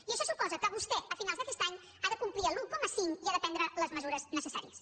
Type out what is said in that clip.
i això suposa que vostè a finals d’aquest any ha de complir l’un coma cinc i ha de prendre les mesures necessàries